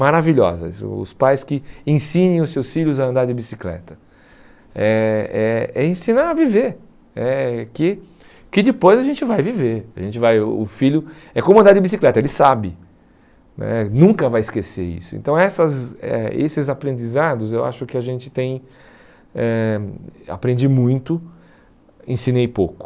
maravilhosas, os pais que ensinem os seus filhos a andar de bicicleta, é é é ensinar a viver, eh que que depois a gente vai viver, a gente vai o o filho é como andar de bicicleta, ele sabe né, nunca vai esquecer isso, então essas eh esses aprendizados eu acho que a gente tem, eh aprendi muito, ensinei pouco,